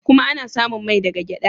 Kuma ana samun mai daga gyada.